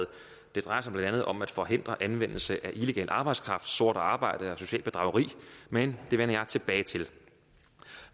det drejer sig blandt andet om at forhindre anvendelse af illegal arbejdskraft sort arbejde og socialt bedrageri men det vender jeg tilbage til